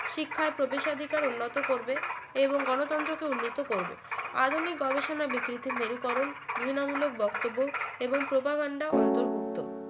শিক্ষায় প্রবেশাধিকার উন্নত করবে এবং গণতন্ত্রকে উন্নত করবে আধুনিক গবেষণায় বিকৃতি মেরুকরণ ঘৃণা মূলক বক্তব্য এবং প্রপাগণ্ডা অন্তর্ভুক্ত